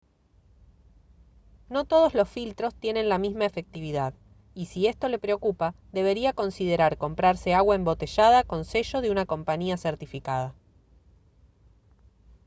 no todos los filtros tienen la misma efectividad y si esto le preocupa debería considerar comprarse agua embotellada con sello de una compañía certificada